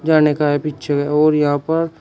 जाने का है पीच्छे और यहां पर --